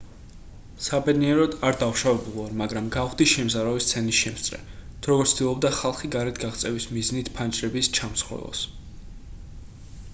საბედნიეროდ არ დავშავებულვარ მაგრამ გავხდი შემზარავი სცენის შემსწრე თუ როგორ ცდილობდა ხალხი გარეთ გაღწევის მიზნით ფანჯრების ჩამსხვრევას